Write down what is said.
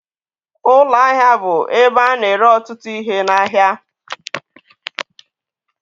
Ụlọ ahịa bụ ebe a na-ere ọtụtụ ihe n'ahịa.